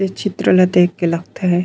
इ चित्र ल देख के लगथे--